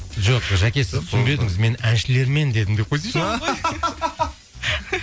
жоқ жәке сіз түсінбедіңіз мен әншілермен дедім деп қойсайшы